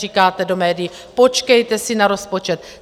Říkáte do médií: Počkejte si na rozpočet.